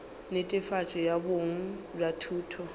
netefatšo ya boleng bja thuto